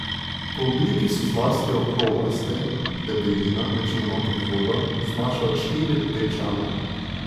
Po obliki so zlasti okroglasti, debelina, večinoma pod vodo, znaša od štiri do pet čevljev.